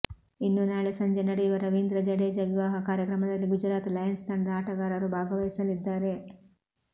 ಇನ್ನೂ ನಾಳೆ ಸಂಜೆ ನಡೆಯುವ ರವೀಂದ್ರ ಜಡೇಜಾ ವಿವಾಹ ಕಾರ್ಯಕ್ರಮದಲ್ಲಿ ಗುಜರಾತ್ ಲಯನ್ಸ್ ತಂಡದ ಆಟಗಾರರು ಭಾಗವಹಿಸಲಿದ್ದಾರೆ